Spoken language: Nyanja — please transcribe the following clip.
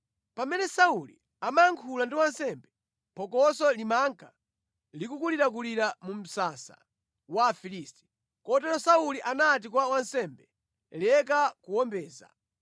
Pamene Sauli amayankhula ndi wansembe, phokoso limanka likulirakulira mu msasa wa Afilisti, Kotero Sauli anati kwa wansembe, “Leka kuwombeza.”